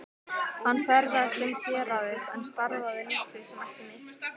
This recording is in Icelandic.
Hann ferðaðist um héraðið en starfaði lítið sem ekki neitt.